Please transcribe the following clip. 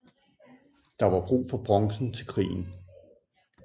Der var brug for bronzen til krigen